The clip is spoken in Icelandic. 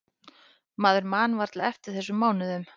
Maður man varla eftir þessum mánuðum.